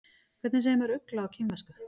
Hvernig segir maður ugla á kínversku?